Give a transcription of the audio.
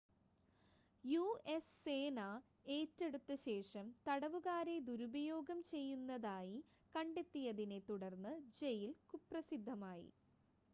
US സേന ഏറ്റെടുത്ത ശേഷം തടവുകാരെ ദുരുപയോഗം ചെയ്യുന്നതായി കണ്ടെത്തിയതിനെ തുടർന്ന് ജയിൽ കുപ്രസിദ്ധമായി